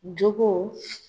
Jogo